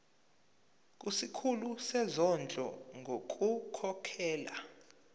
kusikhulu sezondlo ngokukhokhela